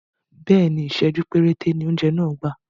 Bẹ́ẹ̀ni, Ìsẹ̀jú péréte ni oúnjẹ náà gbà